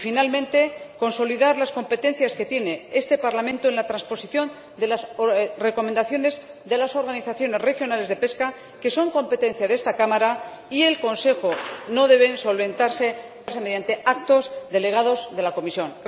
Y, finalmente, consolidar las competencias que tiene este Parlamento en la transposición de las recomendaciones de las organizaciones regionales de pesca, que son competencia de esta Cámara y del Consejo y no deben solventarse mediante actos delegados de la Comisión.